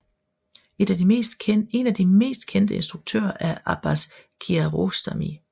Et af de mest kendte instruktører er Abbas Kiarostami